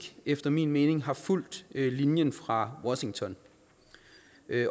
efter min mening har fulgt linjen fra washington